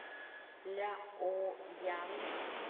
ляоян